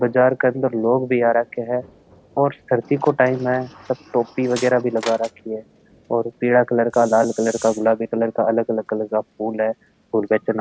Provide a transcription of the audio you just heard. बाजार के अंदर लोग भी आ राख्या है और सर्दी को टाइम है सब टोपी वगैरा भी लगा राखी है और पीला कलर का लाल कलर का गुलाबी कलर का अलग-अलग फूल है फूल बेचन --